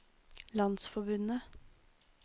landsforbundet